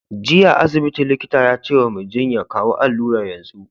Jiya a asibiti, likita ya ce wa Mai jinyan "kawo alurar yanzu!